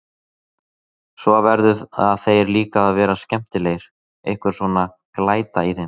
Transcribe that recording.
Svo verða þeir líka að vera skemmtilegir, einhver svona glæta í þeim.